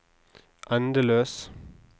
endeløs